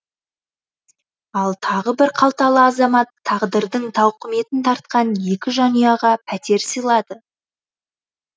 ал тағы бір қалталы азамат тағдырдың тауқыметін тартқан екі жанұяға пәтер сыйлады